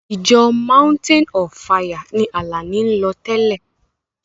Ìjọ mountain of fire ni Àlàní ń lọ tẹ́lẹ̀.